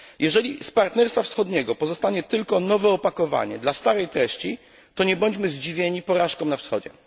Jeżeli z partnerstwa wschodniego pozostanie tylko nowe opakowanie dla starej treści, to nie bądźmy zdziwieni porażką na wschodzie.